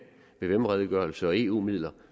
vvm redegørelse og eu midler og